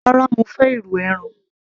rárá, mo fẹ́ irú ẹran